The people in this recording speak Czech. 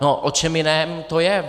No, o čem jiném to je?